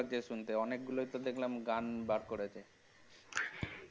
ভালো লাগছে শুনতে অনেকগুলোই তো দেখলাম গান বের করেছে